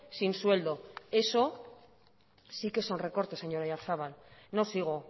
sin sueldo eso sí que son recortes señor oyarzabal no sigo